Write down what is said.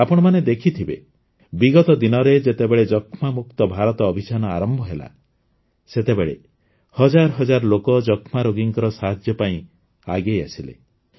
ଆପଣମାନେ ଦେଖିଥିବେ ବିଗତ ଦିନରେ ଯେତେବେଳେ ଯକ୍ଷ୍ମାମୁକ୍ତ ଭାରତ ଅଭିଯାନ ଆରମ୍ଭ ହେଲା ସେତେବେଳେ ହଜାର ହଜାର ଲୋକ ଯକ୍ଷ୍ମାରୋଗୀଙ୍କ ସାହାଯ୍ୟ ପାଇଁ ଆଗେଇଆସିଲେ